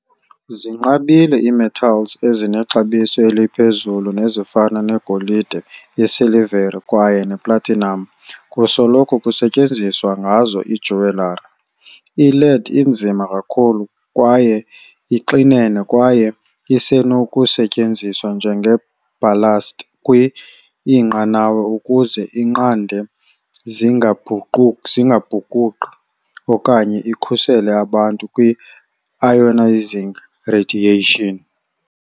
Zinqabile ii-metals ezinexabiso eliphezulu, nezifana ne-golide, isilvere kwaye i-platinum kusoloko kusenziwa ngazo i-jewellery. I-lead inzima kakhulu kwaye ixinene kwaye isenokusetyenziswa njenge-ballast kwi-inqanawa ukuze inqande zingabhukuqi, okanye ikhusele abantu kwi-ionizing radiation.